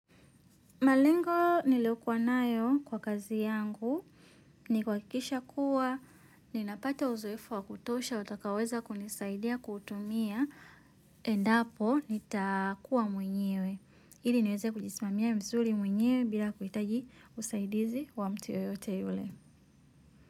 Malengo niliyokuwa nayo kwa kazi yangu ni kuhakikisha kuwa ninapata uzoefu wa kutosha utakaoweza kunisaidia kutumia endapo nitakuwa mwenyewe. Ili niweze kujismamia vizuri mwenyewe bila kuhitaji usaidizi wa mtu yoyote yule.